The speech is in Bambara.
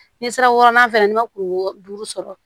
N'i sera wɔɔrɔnan fɛ yan n'i ma kungo duuru sɔrɔ